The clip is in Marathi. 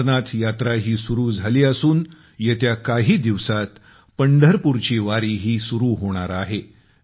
अमरनाथ यात्राही सुरू झाली असून येत्या काही दिवसांत पंढरपूरची वारीही सुरू होणार आहे